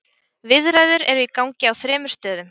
Viðræður eru í gangi á þremur stöðum.